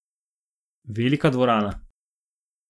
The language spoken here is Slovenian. Velika dvorana.